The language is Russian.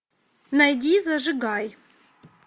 найди зажигай